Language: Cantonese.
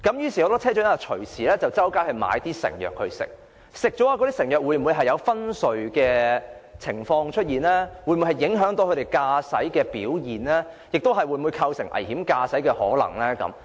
於是，很多車長唯有購買成藥服用，但有關的藥物會否導致昏睡、會否影響駕駛表現，甚或構成危險駕駛呢？